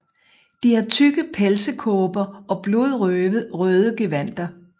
De har tykke pelsekåber og blodrøde gevandter